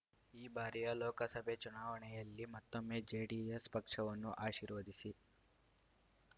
ಈ ಬಾರಿಯ ಲೋಕಸಭೆ ಚುನಾವಣೆಯಲ್ಲಿ ಮತ್ತೊಮ್ಮೆ ಜೆಡಿಎಸ್ ಪಕ್ಷವನ್ನು ಆಶೀರ್ವದಿಸಿ